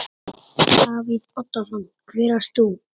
Davíð Oddsson: Hver ert þú?